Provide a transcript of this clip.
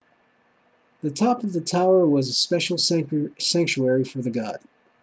the top of the tower was special sanctuary for the god